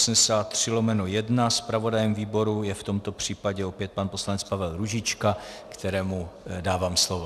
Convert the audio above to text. Zpravodajem výboru je v tomto případě opět pan poslanec Pavel Růžička, kterému dávám slovo.